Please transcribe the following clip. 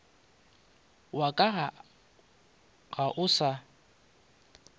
wa ka ga o sa